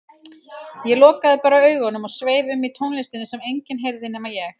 Ég lokaði bara augunum og sveif um í tónlistinni sem enginn heyrði nema ég.